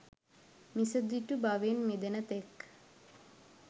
මිසදිටු බවින් මිදෙන තෙක්